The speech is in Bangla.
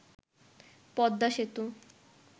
পদ্মা সেতু